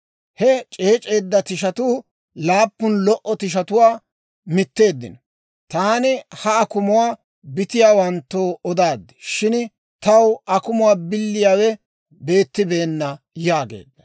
He c'eec'c'eedda tishatuu laappun lo"o tishatuwaa mitteeddino. Taani ha akumuwaa bitiyaawanttoo odaad; shin taw akumuwaa biliyaawe beettibeenna» yaageedda.